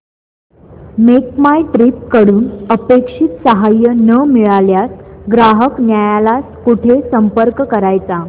make my trip कडून अपेक्षित सहाय्य न मिळाल्यास ग्राहक न्यायालयास कुठे संपर्क करायचा